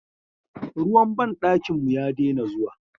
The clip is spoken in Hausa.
Ruwan banɗakin mu ya daina zuwa.